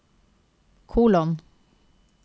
kolon